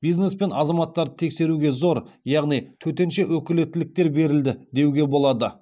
бизнес пен азаматтарды тексеруге зор яғни төтенше өкілеттіктер берілді деуге болады